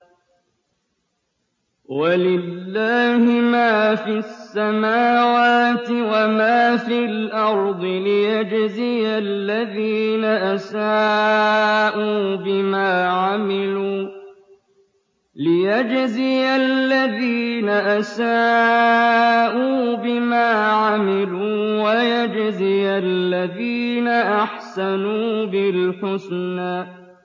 وَلِلَّهِ مَا فِي السَّمَاوَاتِ وَمَا فِي الْأَرْضِ لِيَجْزِيَ الَّذِينَ أَسَاءُوا بِمَا عَمِلُوا وَيَجْزِيَ الَّذِينَ أَحْسَنُوا بِالْحُسْنَى